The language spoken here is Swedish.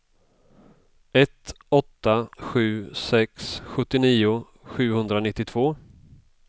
ett åtta sju sex sjuttionio sjuhundranittiotvå